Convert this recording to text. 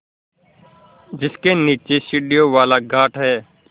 जिसके नीचे सीढ़ियों वाला घाट है